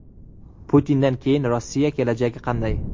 Putindan keyingi Rossiya kelajagi qanday?